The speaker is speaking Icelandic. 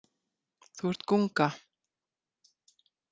Þú ert gunga.